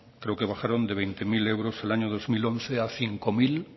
creo que bajaron de veinte mil euros el año dos mil once a cinco mil